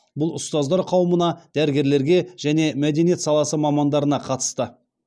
бұл ұстаздар қауымына дәрігерлерге және мәдениет саласы мамандарына қатысты